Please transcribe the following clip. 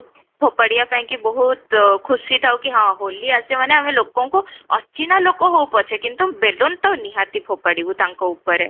ଫୋପାଡ଼ିବା ପାଇଁ ବହୁତ ଖୁସି ଥାଉ କି ହଁ ହୋଲି ଆଜି ମାନେ ଆମେ ଲୋକଙ୍କୁ ଅଚିହ୍ନା ଲୋକ ହଉ ପଛେ କିନ୍ତୁ ବେଲୁନ ତ ନିହାତି ଫୋପାଡ଼ିବୁ ତାଙ୍କ ଉପରେ